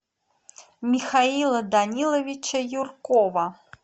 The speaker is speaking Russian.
михаила даниловича юркова